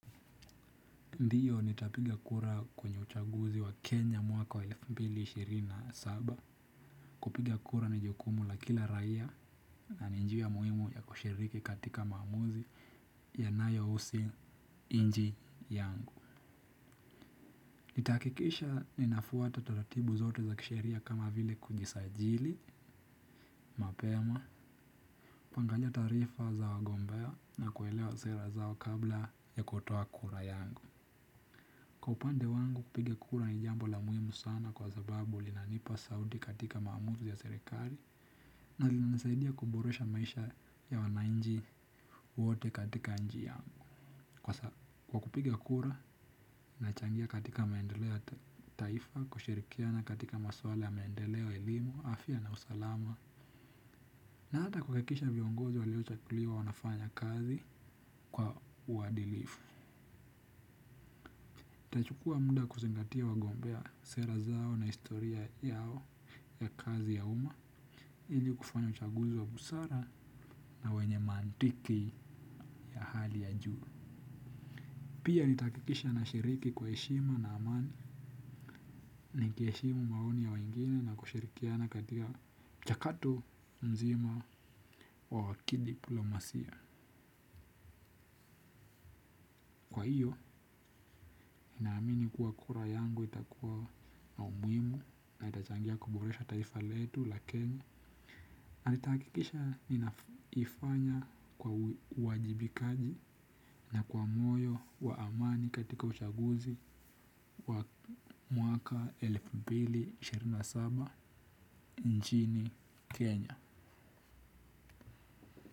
Ndio nitapiga kura kwenye uchaguzi wa Kenya mwaka wa elfu mbili na ishirini na saba, kupiga kura ni jukumu la kila raia na ni njia muhimu ya kushiriki katika maamuzi yanayohusi nchi yangu. Nitahakikisha ninafuata taratibu zote za kisheria kama vile kujisajili, mapema, kuangalia taarifa za wagombea na kuelewa sera zao kabla ya kutoa kura yangu. Kwa upande wangu kupiga kura ni jambo la muhimu sana kwa sababu linanipa sauti katika maamuzi ya serikali na linanisaidia kuboresha maisha ya wananchi wote katika nchi yangu. Kwa kupiga kura, nachangia katika maendeleo ya taifa, kushirikiana katika masuala ya maendeleo ya elimu, afya na usalama, na hata kuhakikisha viongozi waliochaguliwa wanafanya kazi kwa uadilifu. Itachukua muda kuzingatia wagombea sera zao na historia yao ya kazi ya umma ili kufanya uchaguzi wa busara na wenye maantiki ya hali ya juu. Pia nitahakikisha nashiriki kwa heshima na amani. Nikiheshimu maoni ya wengine na kushirikiana katika mchakato mzima wa kidiplomasia. Kwa hiyo, ninaamini kuwa kura yangu itakuwa na umuhimu na itachangia kuboresha taifa letu, la kenya. Na nitahakikisha ninaifanya kwa uwajibikaji na kwa moyo wa amani katika ushaguzi wa mwaka elfu mbili na ishirini na saba nchini Kenya.